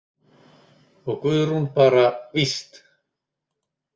Og Guðrún bara: Víst!